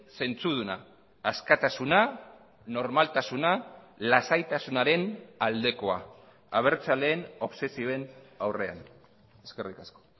zentzuduna askatasuna normaltasuna lasaitasunaren aldekoa abertzaleen obsesioen aurrean eskerrik asko